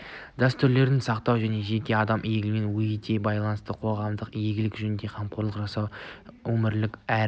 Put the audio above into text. дәстүрлерді сақтау жеке адамның игілігімен етене байланысты қоғамдық игілік жөнінде қамқорлық жасау өмірлік әрі рухани